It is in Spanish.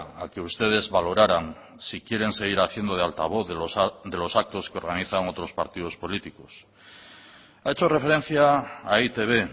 a que ustedes valoraran si quieren seguir haciendo de altavoz de los actos que organizan otros partidos políticos ha hecho referencia a e i te be